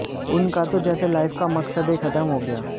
उनका तो जैसे लाइफ का मकसदे खतम हो गया